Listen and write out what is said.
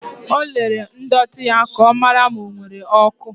O lere ndọtị ya ka ọ mara ma ọ nwere oku.